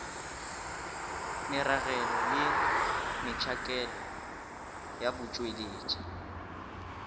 meragelo le metšhakelo ya botšweletši